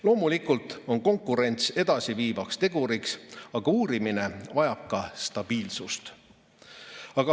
Loomulikult on konkurents edasiviivaks teguriks, aga uurimine vajab ka stabiilsust.